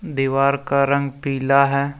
दीवार का रंग पीला है।